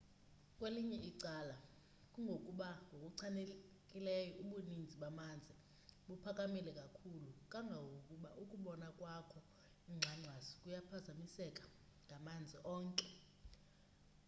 kwelinye icala kungokuba ngokuchanileyo ubuninzi bamanzi buphakamile kakhulu kangangokuba ukubona kwakho ingxangxasi kuyaphazamiseka ngamanzi onke